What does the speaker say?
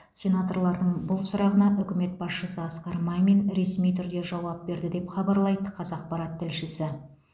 сенаторлардың бұл сұрағына үкімет басшысы асқар мамин ресми түрде жауап берді деп хабарлайды қазақпарат тілшісі